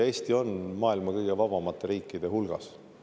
Eesti on maailma kõige vabamate riikide hulgas.